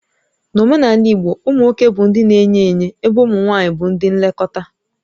N'omenala igbo, ụmụ nwoke bụ ndị na-enye enye ébé ụmụ nwanyị bụ ndị nlekọta